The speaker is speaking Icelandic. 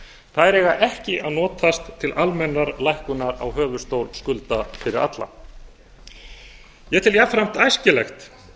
þær eiga ekki að notast til almennrar lækkunar á höfuðstól skulda fyrir alla ég tel jafnframt æskilegt